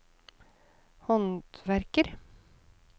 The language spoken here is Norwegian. håndverker